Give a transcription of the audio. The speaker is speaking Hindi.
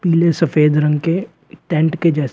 पीले सफेद रंग के टेंट के जैसे--